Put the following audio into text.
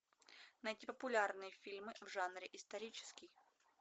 найти популярные фильмы в жанре исторический